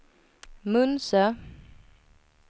Munsö